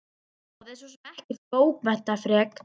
Þetta ljóð er svo sem ekkert bókmenntaafrek.